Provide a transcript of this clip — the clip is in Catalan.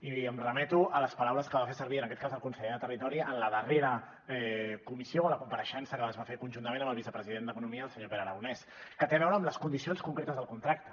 i em remeto a les paraules que va fer servir en aquest cas el conseller de territori en la darrera comissió a la compareixença que es va fer conjuntament amb el vicepresident d’economia el senyor pere aragonès que tenen a veure amb les condicions concretes del contracte